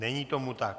Není tomu tak.